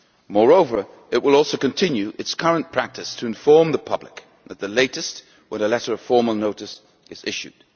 Moreover, it will also continue its current practice to inform the public at the latest when a letter of formal notice is issued.